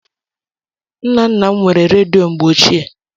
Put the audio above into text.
Nna nna m nwere redio mgbe ochie.